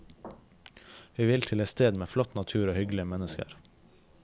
Vi vil til et sted med flott natur og hyggelige mennesker.